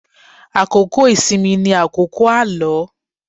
Àkókò ìsinmi ni àkókò àlọ́.